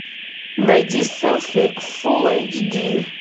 найди селфи фулл эйч ди